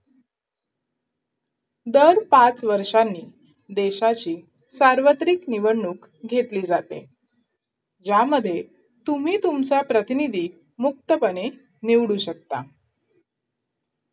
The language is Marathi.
दर पाच वर्षांनी देशाची सार्वत्रिक निवडणूक घेतली जाते ज्यामध्ये तुम्ही तुमचा प्रतिनिधी मुक्तपणे निवडू शकता